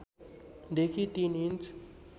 देखि ३ इन्च